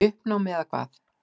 Í uppnámi, eða hvað?